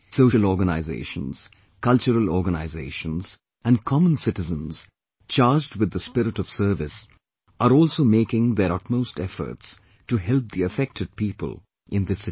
Social organisations, cultural organizations and common citizens charged with the spirit of service are also making their utmost efforts to help the affected people in this situation